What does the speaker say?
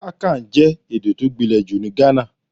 Akani jẹ́ èdè tó gbinle jù ní Ghana.